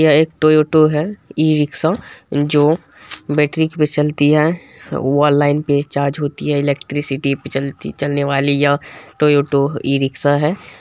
ये एक टोयोटो है इ रिक्शा जो बैट्रीक पे चलती है व लाइन पे चार्ज होती है इलेक्ट्रीसिटी पे चलने वली ये टोयोटो इ रिक्शा है।